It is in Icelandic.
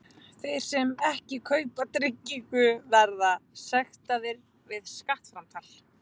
Þeir sem ekki kaupa tryggingar verða sektaðir við skattframtal.